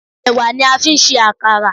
Ẹ̀wà ni a fi ń ṣe àkàrà.